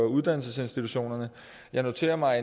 uddannelsesinstitutionerne jeg noterer mig